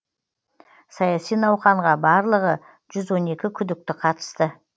саяси науқанға барлығы жүз он екі күдікті қатысты